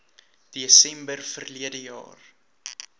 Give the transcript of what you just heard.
desember verlede jaar